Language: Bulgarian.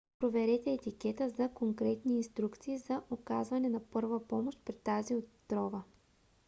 проверете етикета за конкретни инструкции за оказване на първа помощ при тази отрова